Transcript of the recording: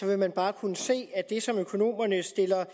vil man bare kunne se at det som økonomerne sætter